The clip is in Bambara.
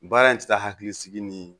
Baara in tɛ taa hakili sigi ni